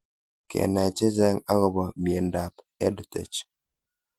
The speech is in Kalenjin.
Kenai chechang' akopo miendop EdTech